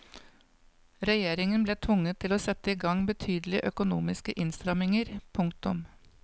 Regjeringen ble tvunget til å sette i gang betydelige økonomiske innstramninger. punktum